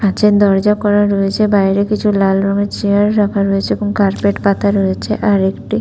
কাঁচের দরজা করা রয়েছে বাইরে কিছু লালা রঙের চেয়ার রাখা রয়েছে এবং কার্পেট পাতা রয়েছে আরেকটু ।